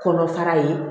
Kɔnɔfara ye